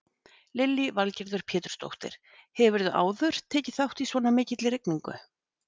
Lillý Valgerður Pétursdóttir: Hefurðu áður tekið þátt í svona mikilli rigningu?